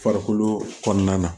Farikolo kɔnɔna na